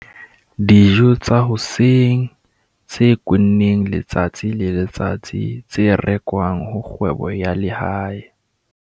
dijo tsa hoseng tse kwenneng letsatsi le letsatsi tse rekwang ho kgwebo ya lehae.